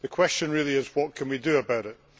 The question really is, what can we do about it?